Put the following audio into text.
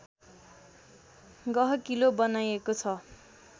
गहकिलो बनाएको छ